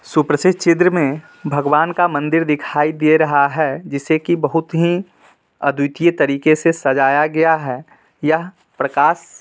सुप्रसिद्ध चिद्र में भगवान का मंदिर दिखाई दे रहा है जिसे की बहुत ही अद्वितीय तरीके से सजाया गया है| यह प्रकाश--